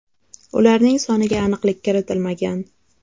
Ularning soniga aniqlik kiritilmagan.